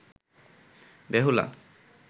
Behula